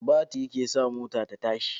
Batiri ke sa mota ta tashi